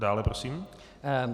Dále prosím.